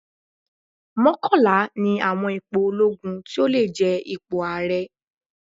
Mọ́kànlá ni àwọn ipò olóogun tí ó lè jẹ ipò ààrẹ.